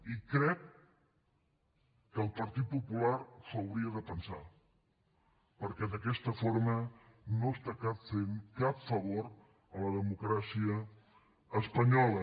i crec que el partit popular s’ho hauria de pensar perquè d’aquesta forma no està fent cap favor a la democràcia espanyola